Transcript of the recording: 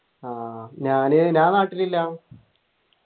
ആഹ് ഞാന് ഞാൻ നാട്ടിൽ ഇല്ല